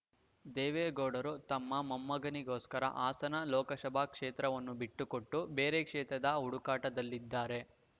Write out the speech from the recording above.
ದೇವೇಗೌಡರು ತಮ್ಮ ಮೊಮ್ಮಗನಿಗೋಸ್ಕರ ಹಾಸನ ಲೋಕಸಭಾ ಕ್ಷೇತ್ರವನ್ನು ಬಿಟ್ಟು ಕೊಟ್ಟು ಬೇರೆ ಕ್ಷೇತ್ರದ ಹುಡುಕಾಟದಲ್ಲಿದ್ದಾರೆ